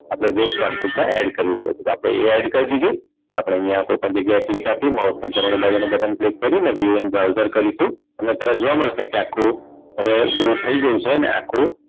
આપણે web quantik માં add કરવું પડશે તો આપણે એ add કરી દીધું તો આપણે અહીંયા કોઈપણ જગ્યાએ click આપી mouse નું જમણી બાજુનું button click કરીને view in browser કરીશું અને તમને જોવા મળશે કે આખું view થઈ ગયું છે ને આખું